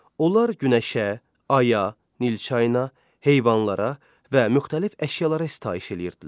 Onlar günəşə, aya, Nil çayına, heyvanlara və müxtəlif əşyalara sitayiş eləyirdilər.